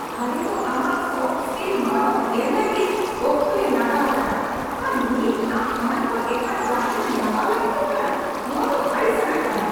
ᱟᱞᱮ ᱫᱚ ᱟᱢᱟᱜ ᱥᱚᱯᱷᱴ ᱥᱠᱤᱞ ᱢᱟᱱᱚᱛ ᱮᱢ ᱞᱟᱹᱜᱤᱫ ᱚᱠᱛᱚ ᱞᱮ ᱞᱟᱜᱟᱣ ᱟᱠᱟᱫᱟ ᱟᱨ ᱱᱤᱛ ᱟᱢ ᱚᱱᱟ ᱠᱚ ᱮᱴᱟᱜ ᱡᱟᱦᱟᱨᱮᱢ ᱞᱟᱜᱟᱣ ᱞᱟᱹᱜᱤᱫᱚᱜ ᱠᱟᱱᱟ ? ᱱᱚᱣᱟ ᱫᱚ ᱟᱹᱲᱤᱥ ᱟᱱᱟᱜ ᱠᱟᱱᱟ